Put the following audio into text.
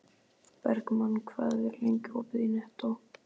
Bergmann, hvað er lengi opið í Nettó?